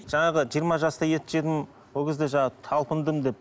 жаңағы жиырма жаста ет жедім ол кезде жаңағы талпындым деп